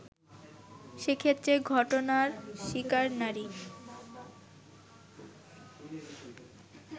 সেক্ষেত্রে ঘটনার শিকার নারী